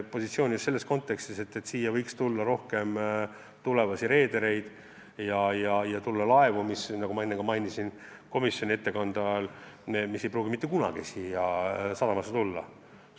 Positsiooni just selles kontekstis, et meie registrisse võiks tulla rohkem reedereid ja ka laevu, mis, nagu ma komisjoni ettekannet tehes ütlesin, ei pruugi mitte kunagi Eesti sadamasse tulla.